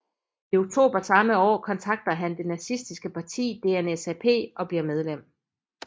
I oktober samme år kontakter han det nazistiske parti DNSAP og bliver medlem